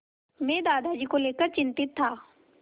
मैं दादाजी को लेकर चिंतित था